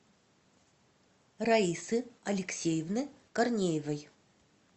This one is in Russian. раисы алексеевны корнеевой